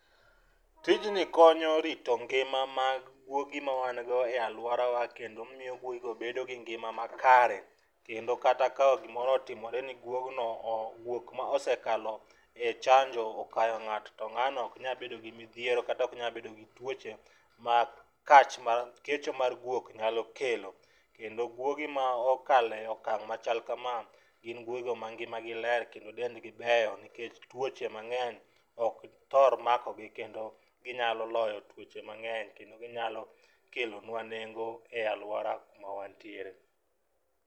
Tijni konyo rito ngima mag gwogi ma wan go e alworawa, kendo miyo gwogigo bedo gi ngima ma kare, kendo kata ta gimoro otimore ni gwogno, gwok ma osekalo e chanjo okayo ng'ato ,to ng'ano ok nyal bedo gi mithiero kata ok nya bedo gi tuoche ma kecho mar gwok nyalo kelo, kendo gwogi ma okale okang' machal kama gin gwogigo mangima gi ler kendo dendgi beyo nikech tuoche mang'eny ok thor makogi kendo ginyalo loyo tuoche mang'eny, kendo ginyalo kelonwa nengo e alwora mawantiere.